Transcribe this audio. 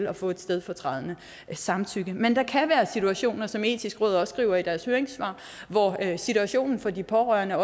at få et stedfortrædende samtykke men der kan være situationer som det etiske råd også skriver i deres høringssvar hvor situationen for de pårørende er